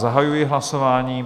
Zahajuji hlasování.